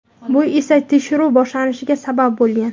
bu esa tekshiruv boshlanishiga sabab bo‘lgan.